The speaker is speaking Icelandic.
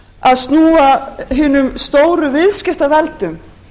að snúa hinum stóru viðskiptaveldum